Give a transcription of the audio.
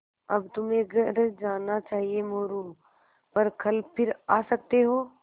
अब तुम्हें घर जाना चाहिये मोरू पर कल फिर आ सकते हो